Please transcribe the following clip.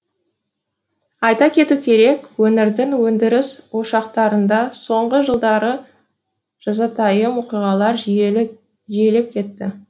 айта кету керек өңірдің өндіріс ошақтарында соңғы жылдары жазатайым оқиғалар жиілеп кетті